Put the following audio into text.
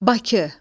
Bakı.